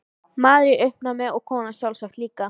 Maðurinn í uppnámi og konan sjálfsagt líka.